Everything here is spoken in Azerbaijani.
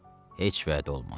Heç vədə olmaz.